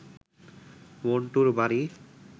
মণ্টুর বাড়ি